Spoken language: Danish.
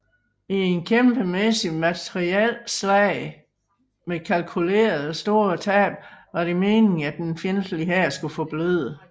I et kæmpemæssigt materielslag med kalkulerede store tab var det meningen at den fjendtlige hær skulle forbløde